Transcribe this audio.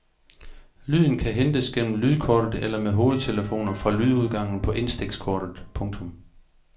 Lyden kan hentes gennem lydkortet eller med hovedtelefoner fra lydudgangen på indstikskortet. punktum